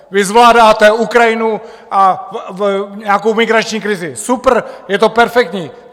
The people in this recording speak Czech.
Vy zvládáte Ukrajinu a nějakou migrační krizi super, je to perfektní.